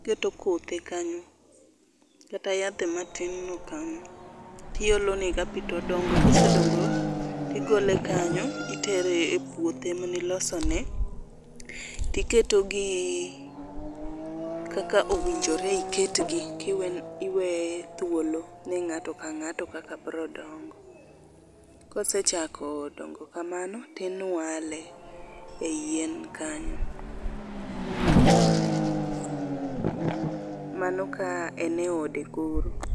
iketo kothe kanyo kata yadhe matin no kanyo tiolo nega pii todongo. Kosedongo tigole kanyo itere e puothe mane ilosone tiketo gi kaka owinjore iketgi kiwe thuolo ne ngato ka ngato kaka biro dongo. Kosechako dongo kamano tinwale ei yien kanyo mano ka en e ode koro